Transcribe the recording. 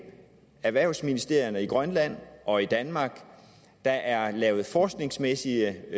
erhvervsministerierne i grønland og i danmark der er lavet forskningsmæssige